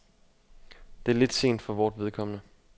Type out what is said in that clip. Det er lidt sent for vort vedkommende.